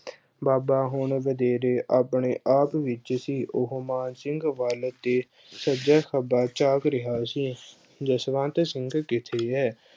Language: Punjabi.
ਬਾਬਾ ਹੁਣ ਵਧੇਰੇ ਆਪਣੇ-ਆਪ ਵਿੱਚ ਸੀ ਉਹੋ ਮਾਨ ਸਿੰਘ ਵੱਲ ਦੇਖ ਸੱਜਾ-ਖੱਬਾ ਝਾਕ ਰਿਹਾ ਸੀ। ਜਸਵੰਤ ਸਿੰਘ ਕਿੱਥੇ ਹੈ?